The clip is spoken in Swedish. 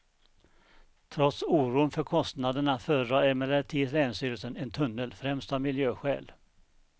Trots oron för kostnaderna föredrar emellertid länsstyrelsen en tunnel, främst av miljöskäl.